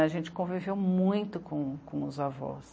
A gente conviveu muito com...com os avós.